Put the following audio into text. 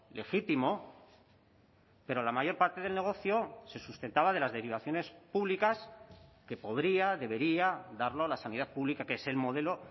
legítimo pero la mayor parte del negocio se sustentaba de las derivaciones públicas que podría debería darlo la sanidad pública que es el modelo